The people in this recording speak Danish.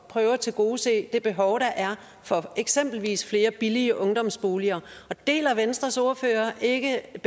prøve at tilgodese det behov der er for eksempelvis flere billige ungdomsboliger deler venstres ordfører ikke